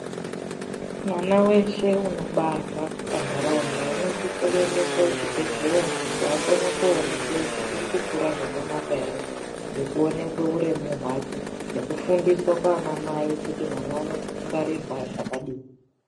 Vana veshe munobarwa pantaraunda unosise kuendeswe kuchibhedhleya kuti akone koonekwa kuti uri kukura zvakanaka ere ngekuonekwe urwmu hwake nekufundiswa kwaana mai kutimwana unongwarirwe zvakadini.